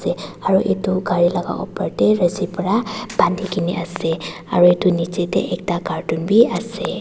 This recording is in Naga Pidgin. te aro edu gari laka opor te rusi pa bandikaena ase aro edu nichae tae ekta carton biase.